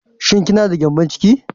Shin ki na da gƴambon ciki?